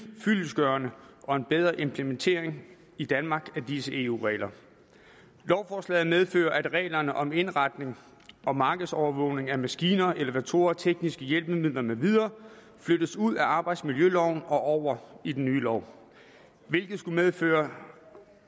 fyldestgørende og bedre implementering i danmark af disse eu regler lovforslaget medfører at reglerne om indretning og markedsovervågning af maskiner elevatorer tekniske hjælpemidler med videre flyttes ud af arbejdsmiljøloven og over i den nye lov hvilket skulle medføre